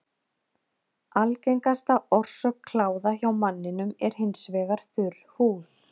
Algengasta orsök kláða hjá manninum er hins vegar þurr húð.